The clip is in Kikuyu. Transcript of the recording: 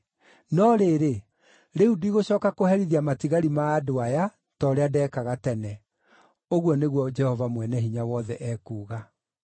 No rĩrĩ, rĩu ndigũcooka kũherithia matigari ma andũ aya ta ũrĩa ndeekaga tene.” Ũguo nĩguo Jehova Mwene-Hinya-Wothe ekuuga.